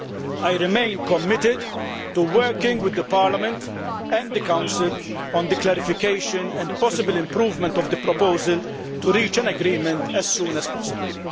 I remain committed to working with Parliament and the Council on the clarification and possible improvement of the proposal, to reach an agreement as soon as possible.